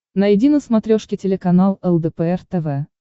найди на смотрешке телеканал лдпр тв